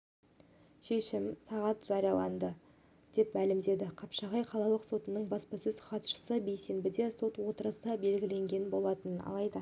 шешім сағат жарияланады деп мәлімдеді қапшағай қалалық сотының баспасөз хатшысы бейсенбіде сот отырысы белгіленген болатын алайда